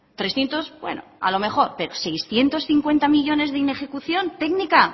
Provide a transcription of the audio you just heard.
trescientos bueno a lo mejor pero seiscientos cincuenta millónes de inejecución técnica